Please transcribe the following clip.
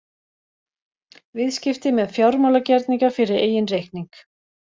Viðskipti með fjármálagerninga fyrir eigin reikning.